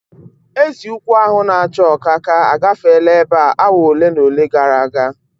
Ezi ukwu ahu na acha ọkaka agafeela ebe a awa ole na ole gara aga